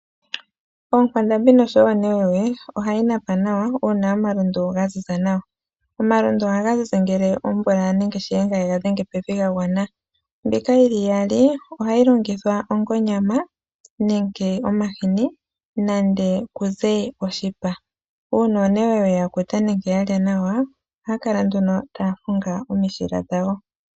Oonkwandambi noshowo oonewewe, ohayi napa nawa uuna omalundu ga ziza nawa. Omalundu ohaga zizi ngele omvula nenge shiyenga yega dhenge pevi ga gwana. Mbika yi li iyali ohayi longithwa onge onyama nenge omahini nande kuze oshipa. Uuna oonewewe ya kuta nenge ya lya nawa, ohaya kala nduno taya hunga omishila dhawo.